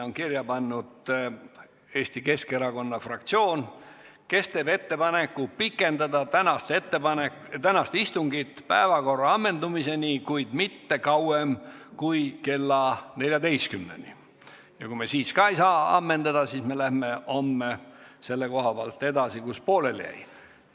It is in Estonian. Eesti Keskerakonna fraktsioon teeb ettepaneku pikendada tänast istungit päevakorra ammendumiseni, kuid mitte kauem kui kella 14-ni, ja kui me ka selleks ajaks teemat ei ammenda, siis läheme homme selle koha pealt, kus pooleli jäi, edasi.